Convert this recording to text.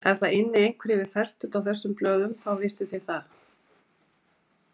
Ef það ynni einhver yfir fertugt á þessum blöðum, þá vissuð þið það.